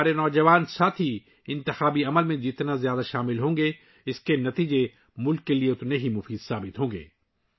ہمارے نوجوان انتخابی عمل میں جتنا زیادہ حصہ لیں گے، اس کے نتائج ملک کے لیے اتنے ہی زیادہ فائدہ مند ہوں گے